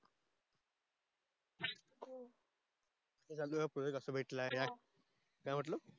project अस भेटल आहे यार